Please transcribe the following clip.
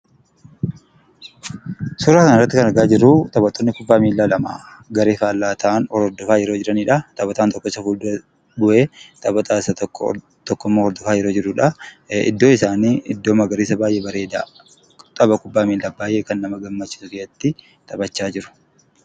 Suuraa kanarratti kan argaa jirru taphattoonni kubbaa miilaa lama garee faallaa ta'an hordofaa yeroo jiranidha. Taphataan tokko fuuldura bu'ee taphataa isa tokkommoo hordofaa yeroo jirudha. Iddoon isaanii iddoo magariisa baay'ee bareedaadha. Baay'ee kan nama gammachiisudha namatti tola.